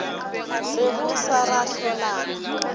re go sa ra hlolana